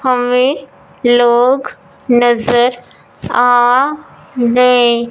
हमें लोग नजर आ गए।